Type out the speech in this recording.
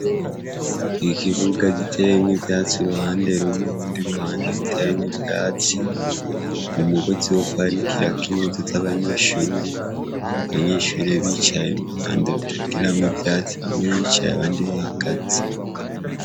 ikibuga giteyemwo ivyatsi uruhande rumwe hundi ruhande gitaremk ivyatsi umugozi wo kwanikira impuzu z'abanyeshure abanyeshurie bicaye mu ruhande rutagiramwo ivyatsi bamwe bicaye abandi bahagaze